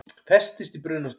Festist í brunastiga